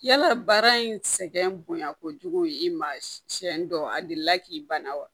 Yala baara in sɛgɛn bonya kojugu ye i ma siyɛn dɔ a delila k'i bana wa